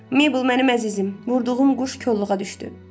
Mabel, mənim əzizim, vurduğum quş kolluğa düşdü.